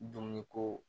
Dumuni ko